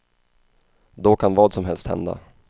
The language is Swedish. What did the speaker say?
Då kan vad som helst hända.